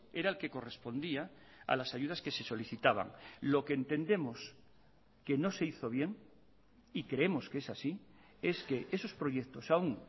era el que correspondía a las ayudas que se solicitaban lo que entendemos que no se hizo bien y creemos que es así es que esos proyectos aún